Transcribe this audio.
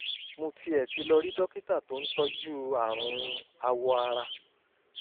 mo tiẹ̀ ti lọ rí dókítà tó ń tọ́jú àrùn awọ ara